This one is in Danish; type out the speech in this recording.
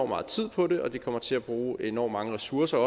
meget tid på det og de kommer til at bruge enormt mange ressourcer